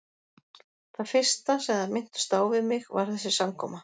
Það fyrsta, sem þær minntust á við mig, var þessi samkoma.